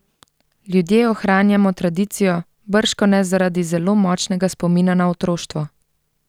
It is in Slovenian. Ljudje ohranjamo tradicijo, bržkone zaradi zelo močnega spomina na otroštvo.